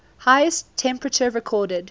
highest temperature recorded